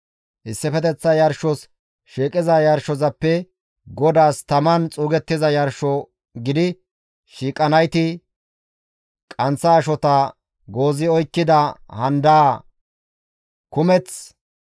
Issifeteththa yarshos shiiqiza yarshozappe GODAAS taman xuugettiza yarsho gidi shiiqanayti qanththa ashota goozi oykkida handaa kumeth,